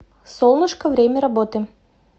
солнышко время работы